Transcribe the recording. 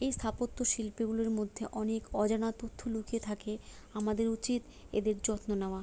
এই স্থাপত্য শিল্পগুলোর মধ্যে অনেক অজানা তথ্য লুকিয়ে থাকে আমাদের উচিত এদের যত্ন নেওয়া।